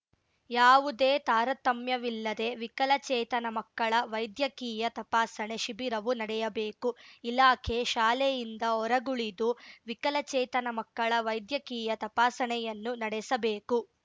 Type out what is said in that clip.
ಯಾವುದೇ ತಾರತಮ್ಯವಿಲ್ಲದೆ ವಿಕಲಚೇತನ ಮಕ್ಕಳ ವೈದ್ಯಕೀಯ ತಪಾಸಣೆ ಶಿಬಿರವು ನಡೆಯಬೇಕು ಇಲಾಖೆ ಶಾಲೆಯಿಂದ ಹೊರಗುಳಿದು ವಿಕಲಚೇತನ ಮಕ್ಕಳ ವೈದ್ಯಕೀಯ ತಪಾಸಣೆಯನ್ನು ನಡೆಸಬೇಕು